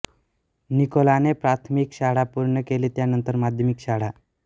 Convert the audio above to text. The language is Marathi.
निकोलाने प्राथमिक शाळा पूर्ण केली त्यानंतर माध्यमिक शाळा